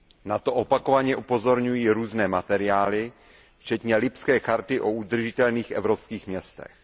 Na to opakovaně upozorňují různé materiály včetně Lipské charty o udržitelných evropských městech.